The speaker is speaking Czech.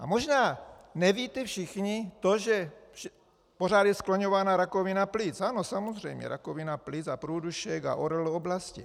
A možná nevíte všichni to, že pořád je skloňována rakovina plic, ano, samozřejmě, rakovina plic a průdušek a ORL oblasti.